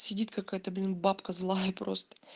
сидит какая-то блин бабка злая просто